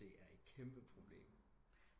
Det er et kæmpe problem